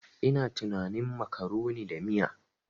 Ina tunanin macaroni da miya.